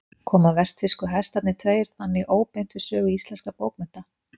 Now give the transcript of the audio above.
Koma vestfirsku Hestarnir tveir þannig óbeint við sögu íslenskra bókmennta.